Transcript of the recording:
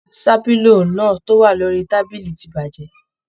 Ṣàpínlò náà to wà lórí tábìlì ti bajẹ.